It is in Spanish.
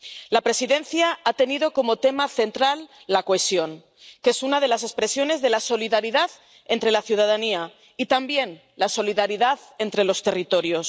La Presidencia ha tenido como tema central la cohesión, que es una de las expresiones de la solidaridad entre la ciudadanía y, también, la solidaridad entre los territorios.